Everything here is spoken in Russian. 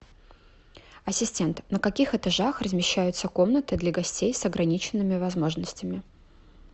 ассистент на каких этажах размещаются комнаты для гостей с ограниченными возможностями